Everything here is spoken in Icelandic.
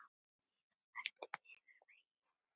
Víða flæddi yfir vegi.